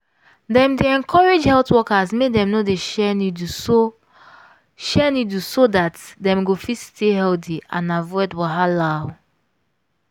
dem dey encourage health workers make dem no dey share needle so share needle so dat dem go fit stay healthy and avoid wahala.